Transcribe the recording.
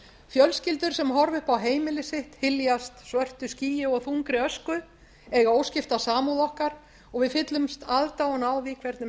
fjölskyldur sem horfa upp á heimili settu hyljast svörtu skýri og þungri ösku eiga óskipta samúð okkar og við fyllumst aðdáun á því hvernig menn